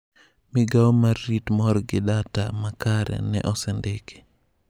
Migao mar rit mor gi data ma kare ne osendiki.